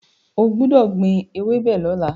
O gbọ́dọ̀ gbin ewébẹ̀ lọ́la.